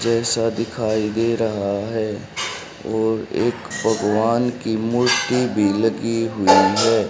जैसा दिखाई दे रहा है और एक भगवान की मूर्ति भी लगी हुई है।